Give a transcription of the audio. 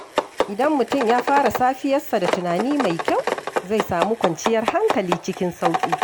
Idan mutum ya fara safiyarsa da tunani mai kyau, zai samu kwanciyar hankali cikin sauƙi.